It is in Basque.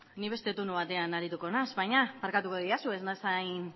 ni beste turno batean arituko naiz baina barkatuko didazue ez naiz hain